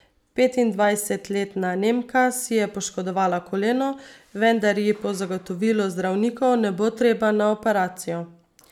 Petindvajsetletna Nemka si je poškodovala koleno, vendar ji po zagotovilu zdravnikov ne bo treba na operacijo.